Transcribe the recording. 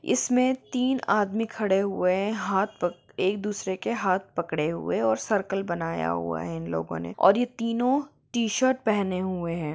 इसमें तिन आदमी खड़े हुए है हाथ पक एक दुसरे के हाथ पकडे हुए है और सर्किल बनाया हुआ है इन लोगों ने और ये तीनो टीशर्ट पहने हुए है।